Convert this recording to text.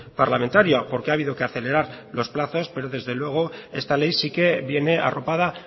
parlamentaria porque ha habido que acelerar los plazos pero desde luego esta ley sí que viene arropada